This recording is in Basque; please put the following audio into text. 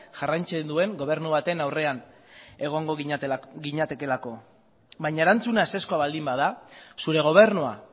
jarraitzen duen gobernu baten aurrean egongo ginatekeelako baina erantzuna ezezkoa baldin bada zure gobernua